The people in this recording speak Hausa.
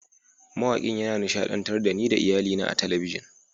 Mawakin yana nishadantar da ni da iyalina a talabijin.